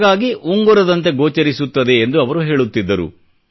ಹಾಗಾಗಿ ಉಂಗುರದಂತೆ ಗೋಚರಿಸುತ್ತದೆ ಎಂದು ಅವರು ಹೇಳುತ್ತಿದ್ದರು